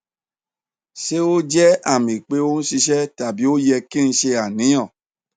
ṣe o jẹ ami pe o n ṣiṣẹ tabi o yẹ ki n ṣe aniyan